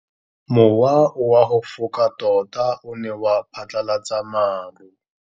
Mowa o wa go foka tota o ne wa phatlalatsa maru.